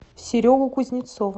серегу кузнецова